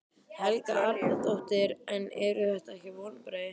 Helga Arnardóttir: En eru þetta ekki vonbrigði?